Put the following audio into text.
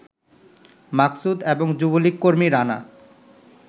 মাকসুদ এবং যুবলীগকর্মী রানা